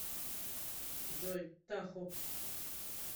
джой тахо